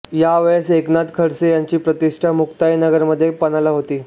या वेळेस एकनाथ खडसे यांची प्रतिष्ठा मुक्ताईनगरमध्ये पणाला होती